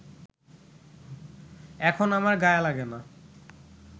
এখন আমার গায়ে লাগে না